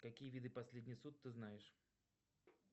какие виды последний суд ты знаешь